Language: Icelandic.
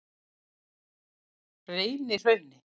Reynihrauni